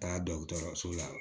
Taga dɔgɔtɔrɔso la